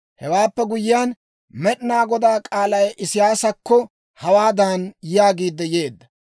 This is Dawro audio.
Hewaappe guyyiyaan, Med'inaa Godaa k'aalay Isiyaasakko hawaadan yaagiid yeedda.